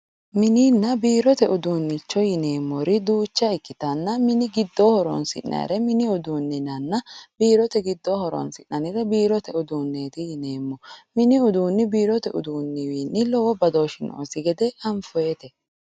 mininanna biirote uduunnicho yineemmori duucha ikkitanna mini giddo horonsi'nannire mini uduune yinanna biirote giddoonni horonsi'nannire biirote uduunneeti yineemmo mini uduunni biirote uduunniwiinni lowo badooshshi noosi gede anfoonnite.